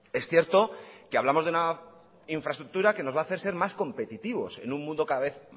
es cierto que hablamos de una infraestructura que nos va a hacer ser más competitivos en un mundo cada vez